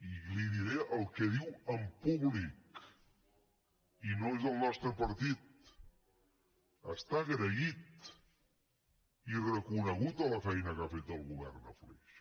i li diré el que diu en públic i no és del nostre partit està agraït i ha reconegut la feina que ha fet el govern a flix